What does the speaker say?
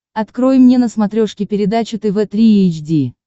открой мне на смотрешке передачу тв три эйч ди